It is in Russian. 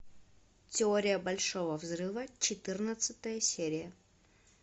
теория большого взрыва четырнадцатая серия